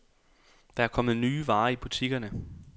Der er kommet nye varer i butikkerne.